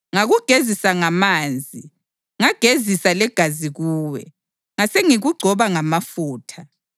Ngakugezisa ngamanzi, ngagezisa legazi kuwe, ngasengikugcoba ngamafutha.